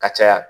Ka caya